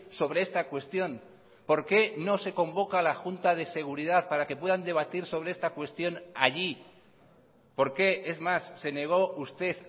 sobre esta cuestión por qué no se convoca a la junta de seguridad para que puedan debatir sobre esta cuestión allí por qué es más se negó usted